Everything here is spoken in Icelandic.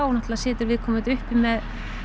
situr viðkomandi uppi með